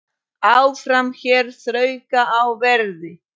Áfram hér þrauka á verði.